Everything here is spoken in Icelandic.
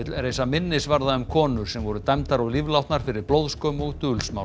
reisa minnisvarða um konur sem voru dæmdar og fyrir blóðskömm og